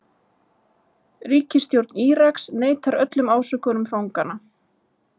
Ríkisstjórn Íraks neitar öllum ásökunum fanganna